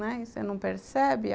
Não é? e você não percebe?